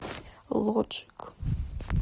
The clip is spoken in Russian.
лоджик